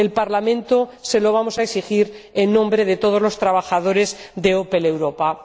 El Parlamento se lo va a exigir en nombre de todos los trabajadores de Opel Europa.